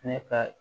Ne ka